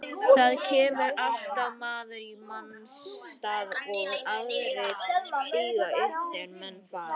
Það kemur alltaf maður í manns stað og aðrir stíga upp þegar menn fara.